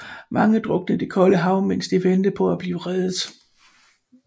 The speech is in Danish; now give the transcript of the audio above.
Mange druknede i det kolde hav mens de ventede på at blive reddet